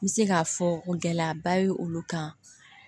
N bɛ se k'a fɔ gɛlɛyaba ye olu kan